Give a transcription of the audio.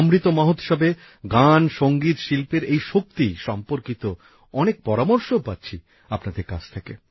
অমৃত মহোৎসবে গানসংগীতশিল্পের এই শক্তি সম্পর্কিত অনেক পরামর্শও পাচ্ছি আপনাদের কাছ থেকে